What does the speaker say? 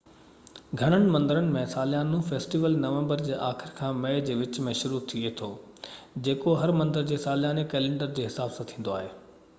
گهڻن مندرن ۾ ساليانو فيسٽيول نومبر جي آخر کان مئي جي وچ ۾ شروع ٿئي ٿو جيڪو هر مندر جي سالياني ڪئلينڊر جي حساب سان ٿيندو آهي